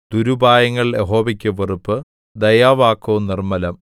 ദുരുപായങ്ങൾ യഹോവയ്ക്ക് വെറുപ്പ് ദയാവാക്കോ നിർമ്മലം